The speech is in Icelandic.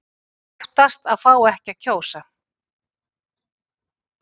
Óttast að fá ekki að kjósa